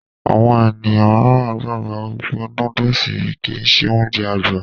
Àwọn ènìyàn míìràn gbàgbọ́ wípé nóódùsì kìí ṣe Ounjẹ àgbà